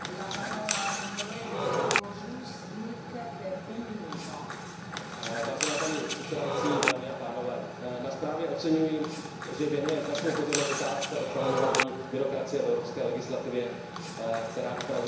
Paní předsedající, na zprávě oceňuji, že věnuje značnou pozornost otázce odstraňování byrokracie v evropské legislativě, která upravuje oblast DPH, konkrétně snížení frekvence pravidelného podávání příznávání k DPH.